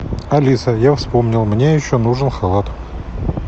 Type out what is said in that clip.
алиса я вспомнил мне еще нужен халат